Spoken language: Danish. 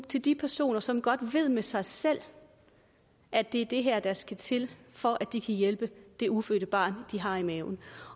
til de personer som godt ved med sig selv at det er det her der skal til for at de kan hjælpe det ufødte barn de har i maven